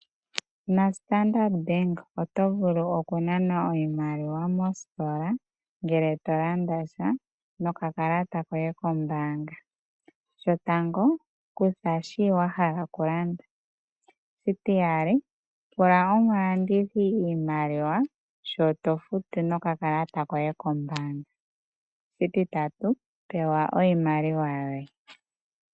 NaStandard Bank oto vulu okunana oshimaliwa mositola ngele to landa sha nokakalata koye kombaanga. Shotango kutha shi wa hala okulanda, shitiyali pula omulandithi iimaliwa shi to futu nokakalata koye kombaanga, shititatu pewa iimaliwa yoye.